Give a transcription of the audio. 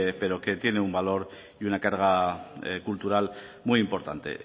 pero que tiene un valor y una carga cultural muy importante